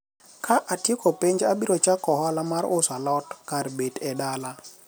ka atieko penj abiro chako ohala mar uso alot kar bet e dala